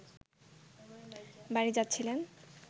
বাড়ি যাচ্ছিলেন